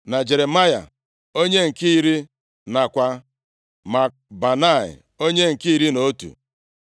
na Jeremaya onye nke iri, nakwa Makbanai onye nke iri nʼotu.